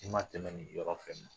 N'i ma tɛmɛ nin yɔrɔ fɛ